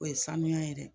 O ye sanuya ye dɛ